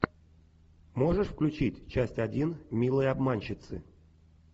можешь включить часть один милые обманщицы